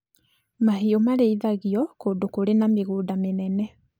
Mahiũ marĩithagio kũndũ kũrĩ na mĩgũnda mĩnene